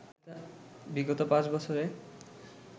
বিগত পাঁচ বছরে